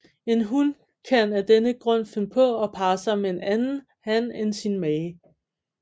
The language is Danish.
En hun kan af denne grund finde på at parre sig med en anden han end sin mage